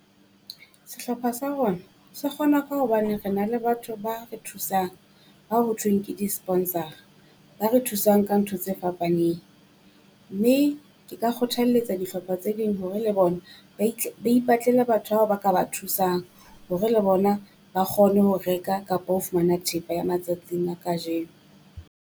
Sehlopha sa rona se kgona ka hobane re na le batho ba re thusang ka ho thweng ke di-sponsor-ra, ba re thusang ka ntho tse fapaneng, mme ke ka kgothalletsa dihlopha tse ding hore le bona ba ba ipatlele batho bao ba ka ba thusang hore le bona ba kgone ho reka kapa ho fumana thepa ya matsatsing a kajeno.